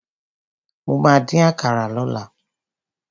Mo ma dín àkàrà lọ́la.